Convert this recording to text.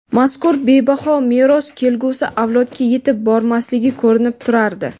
mazkur bebaho meros kelgusi avlodga yetib bormasligi ko‘rinib turardi.